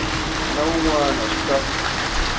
na wun wana swi ta